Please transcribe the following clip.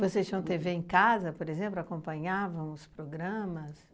Vocês tinham têvê em casa, por exemplo, acompanhavam os programas?